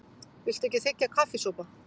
Viltu ekki þiggja kaffisopa?